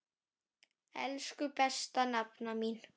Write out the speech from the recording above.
Elsku besta nafna mín.